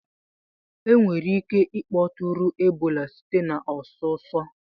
Enwere ike ịkpọtụrụ Ebola site na ọsụsọ